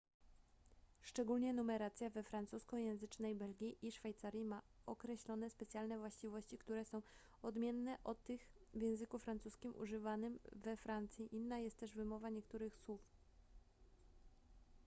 szczególnie numeracja we francuskojęzycznej belgii i szwajcarii ma określone specjalne właściwości które są odmienne od tych w języku francuskim używanym we francji inna jest też wymowa niektórych słów